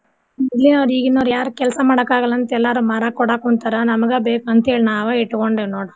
ಮೊದ್ಲಿನೋರು ಈಗಿನೋರ್ ಯಾರ್ ಕೆಲ್ಸ ಮಾಡಕ್ ಆಗಲ್ಲ ಅಂತ್ ಎಲ್ಲಾರು ಮಾರಕ್ ಕೋಡಾಕ್ ಕುಂತಾರ ನಮ್ಗ ಬೇಕ್ ಅಂತೇಳಿ ನಾವ ಇಟ್ಗೊಂಡೇವ್ ನೋಡು.